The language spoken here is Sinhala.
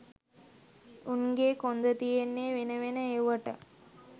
උන්ගෙ කොන්ද තියෙන්නේ වෙන වෙන එව්වට